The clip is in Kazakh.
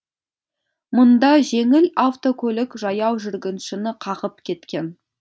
мұнда жеңіл автокөлік жаяу жүргіншіні қағып кеткен